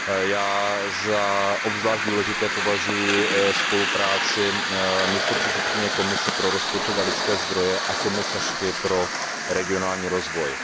Já za obzvlášť důležité považuji spolupráci místopředsedkyně Komise pro rozpočet a lidské zdroje a komisařky pro regionální rozvoj.